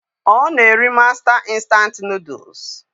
Ọ na-eri mástá instant Nụ́dúls s